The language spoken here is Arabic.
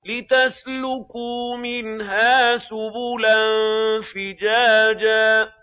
لِّتَسْلُكُوا مِنْهَا سُبُلًا فِجَاجًا